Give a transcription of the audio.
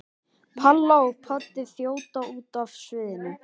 Palla og Poddi þjóta út af sviðinu.